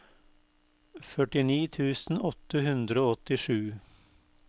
førtini tusen åtte hundre og åttisju